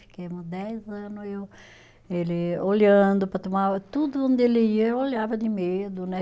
Ficamos dez anos eu, ele olhando para tomar, tudo onde ele ia, eu olhava de medo, né?